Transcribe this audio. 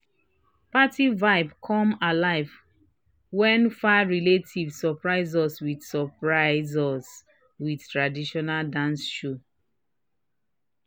party vibe come alive when far relatives surprise us with surprise us with traditional dance show."